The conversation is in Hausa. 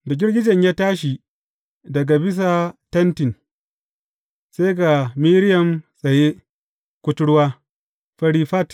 Da girgijen ya tashi daga bisa Tentin, sai ga Miriyam tsaye, kuturwa, fari fat.